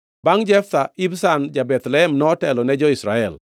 Bangʼ Jeftha, Ibzan ja-Bethlehem notelo ne jo-Israel.